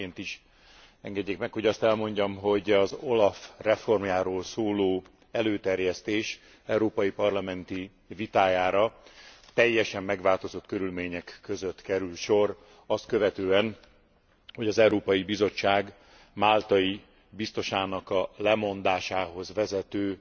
Elsőként is engedjék meg, hogy azt elmondjam, hogy az OLAF reformjáról szóló előterjesztés európai parlamenti vitájára teljesen megváltozott körülmények között kerül sor azt követően, hogy az Európai Bizottság máltai biztosának a lemondásához vezető